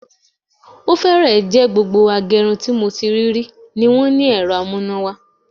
Ó fẹ́ẹ̀ jẹ́ gbogbo agẹrun tí mo ti rí rí ni wọ́n ní ẹ̀rọ amúnáwá